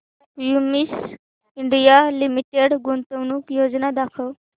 Cummins India Limited गुंतवणूक योजना दाखव